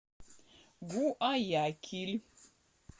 гуаякиль